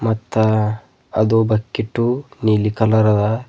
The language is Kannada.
ಮತ್ತ್ ಅದು ಬಕಿಟ್ಟು ನೀಲಿ ಕಲರ್ ಅದ.